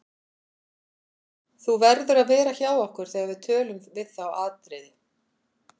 Þú verður að vera hjá okkur þegar við tölun við þá Atriði.